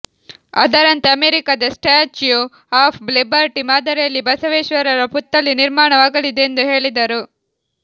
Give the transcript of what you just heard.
ಅದರಂತೆ ಅಮೆರಿಕದ statue of Liberty ಮಾದರಿಯಲ್ಲಿ ಬಸವೇಶ್ವರರ ಪುತ್ಥಳಿ ನಿರ್ಮಾಣವಾಗಲಿದೆ ಎಂದು ಹೇಳಿದರು